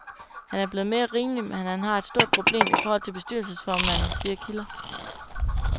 Han er blevet mere rimelig, men han har et stort problem i forhold til bestyrelsesformanden, siger kilder.